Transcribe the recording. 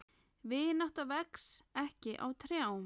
Vinátta vex ekki á trjám.